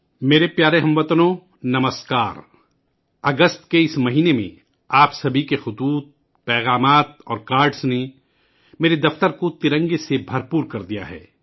میرے پیارے ہم وطنوں ، نمسکار ! اگست کے اس مہینے میں آپ سبھی کے خطوط، پیغامات اور کارڈز نے میرے دفتر کو تین رنگوں سے بھر دیا ہے